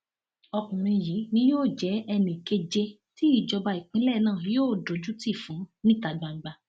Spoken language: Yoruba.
ọkùnrin yìí ni yóò jẹ ẹnì keje tí ìjọba ìpínlẹ náà yóò dojútì fún níta gbangba